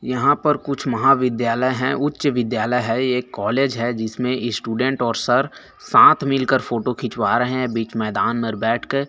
यहाँ पर कुछ महाविद्यालय है उच्च विद्यालय है एक कॉलेज है जिसमे स्टूडेंट और सर साथ मिलकर फोटो खिचवा रहे है बिच मैदान मेर बैठ के--